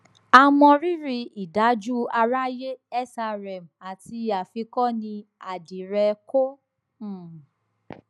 àmọrírí ìdájù àráyé srm àti àfikọnì àdírẹ qo um